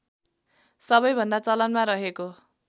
सबैभन्दा चलनमा रहेको